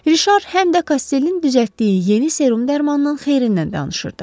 Rişar həm də Kostellin düzəltdiyi yeni serum dərmanının xeyrindən danışırdı.